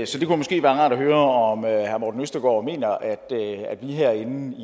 så det kunne måske være rart at høre om herre morten østergaard mener at vi herinde